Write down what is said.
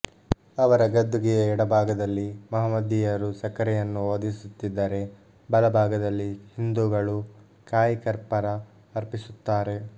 ಅವರ ಗದ್ದುಗೆಯ ಎಡಭಾಗದಲ್ಲಿ ಮಹಮ್ಮದೀಯರು ಸಕ್ಕರೆಯನ್ನು ಓದಿಸುತ್ತಿದ್ದರೆ ಬಲ ಭಾಗದಲ್ಲಿ ಹಿಂದೂಗಳು ಕಾಯಿಕರ್ಪರ ಅರ್ಪಿಸುತ್ತಾರೆ